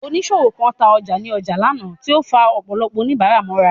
Oníṣòwò kan ta ọjà ní ọjà lánàá, tí ó ń fa ọ̀pọ̀lọpọ̀ oníbàárà mọ́ra.